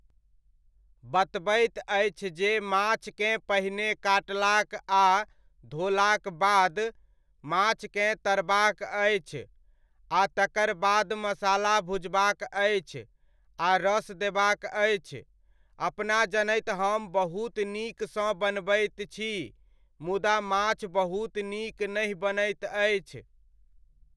बतबैत अछि जे माछकेँ पहिने काटलाक आ धोलाक बाद, माछकेँ तरबाक अछि आ तकर बाद मसाला भुजबाक अछि आ रस देबाक अछि, अपना जनैत हम बहुत नीकसँ बनबैत छी मुदा माछ बहुत नीक नहि बनैत अछि।